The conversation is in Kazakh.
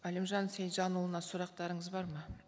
әлімжан сейітжанұлына сұрақтарыңыз бар ма